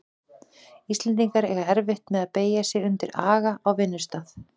Íslendingar eiga erfitt með að beygja sig undir aga á vinnustað.